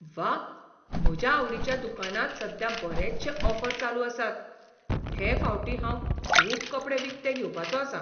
व्वा! म्हज्या आवडीच्या दुकानांत सद्या बरेचशे ऑफर चालू आसात. हे फावटी हांव खूब कपडे विकते घेवपाचो आसां.